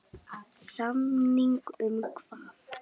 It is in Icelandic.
Samning um hvað?